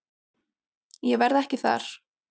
Ég verð ekki þar.